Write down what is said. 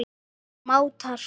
og mátar.